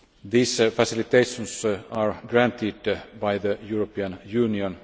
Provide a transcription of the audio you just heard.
These facilitations are granted by the European Union